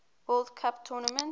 world cup tournament